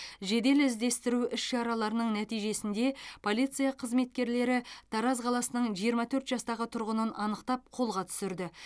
жедел іздестіру іс шараларының нәтижесінде полиция қызметкерлері тараз қаласының жиырма төрт жастағы тұрғынын анықтап қолға түсірді